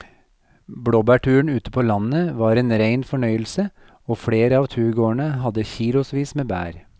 Blåbærturen ute på landet var en rein fornøyelse og flere av turgåerene hadde kilosvis med bær.